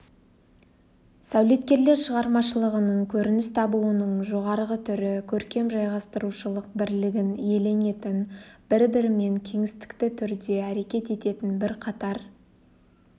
сәулеткерлер шығармашылығының көрініс табуының жоғарғы түрі көркем жайғастырушылық бірлігін иеленетін бір-бірімен кеңістікті түрде әрекет ететін бірқатар